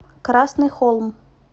красный холм